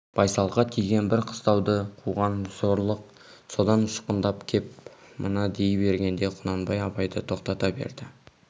байсалға тиген бір қыстауды қуған зорлық содан ұшқындап кеп мына дей бергенде құнанбай абайды тоқтата берді